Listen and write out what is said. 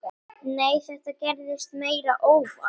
Nei, þetta gerðist meira óvart.